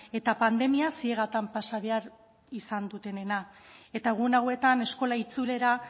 eta pandemia ziegatan pasa behar izan dutenena eta egun hauetan eskola itzulera